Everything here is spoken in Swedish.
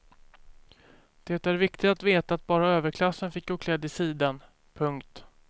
Det är viktigt att veta att bara överklassen fick gå klädd i siden. punkt